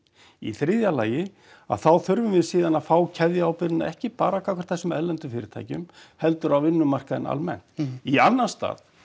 í þriðja lagi þá þurfum við síðan að fá ekki bara gagnvart þessum erlendu fyrirtækjum heldur á vinnumarkaðinn almennt í annan stað